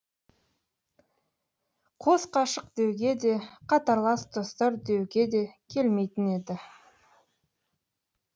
қос ғашық деуге де қатарлас достар деуге де келмейтін еді